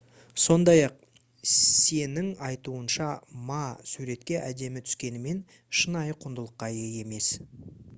сондай-ақ сеның айтуынша ма суретке әдемі түскенімен шынайы құндылыққа ие емес